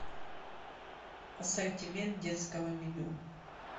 ассортимент детского меню